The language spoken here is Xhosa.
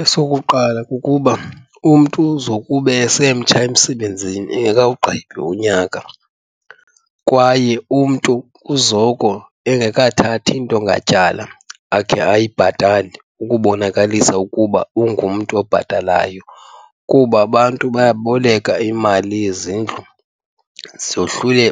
Esokuqala kukuba umntu zokube esemtsha emsebenzini engekawugqibi unyaka. Kwaye umntu uzoko engakathathi nto ngatyala akhe ayibhatale ukubonakalisa ukuba ungumntu obhatalayo kuba abantu bayaboleka imali yezindlu